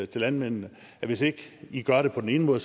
til landmændene at hvis ikke i gør det på den ene måde